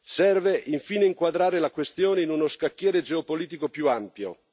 Serve infine inquadrare la questione in uno scacchiere geopolitico più ampio.